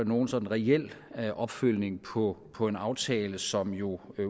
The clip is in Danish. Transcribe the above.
nogen sådan reel opfølgning på på en aftale som jo